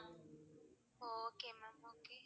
ஒ okay ma'am okay